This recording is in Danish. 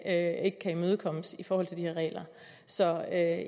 ikke kan imødekommes i forhold til de her regler så